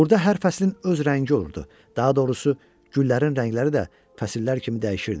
Burda hər fəslin öz rəngi olurdu, daha doğrusu güllərin rəngləri də fəsillər kimi dəyişirdi.